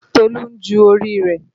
Tolu ń ju orí rẹ̀